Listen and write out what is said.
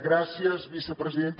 gràcies vicepresidenta